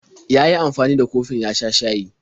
Ya yi amfani da kofin ya sha shayi.